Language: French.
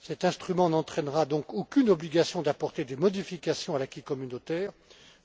Cet instrument n'entraînera donc aucune obligation d'apporter des modifications à l'acquis communautaire,